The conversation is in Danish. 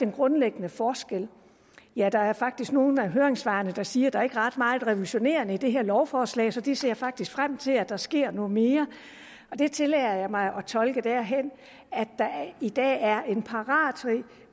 grundlæggende forskel ja der er faktisk nogle af høringssvarene der siger at der ikke er ret meget revolutionerende i det her lovforslag så de ser faktisk frem til at der sker noget mere det tillader jeg mig tolke derhen at der i dag er en